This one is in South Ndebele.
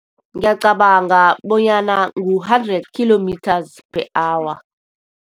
Ngiyacabanga bonyana ngu-hundred kilometers per hour.